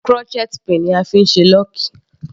Crochet pin ni a fí ń ṣe lọ́ọ̀kì.